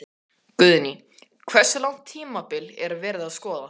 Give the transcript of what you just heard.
Guðný: Hversu langt tímabil er verið að skoða?